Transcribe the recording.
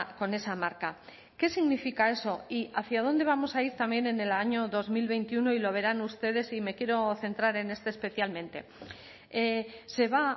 con esa marca qué significa eso y hacia dónde vamos a ir también en el año dos mil veintiuno y lo verán ustedes y me quiero centrar en este especialmente se va